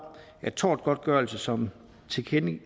at tortgodtgørelse som